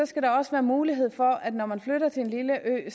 skal der også være mulighed for at man når man flytter til en lille ø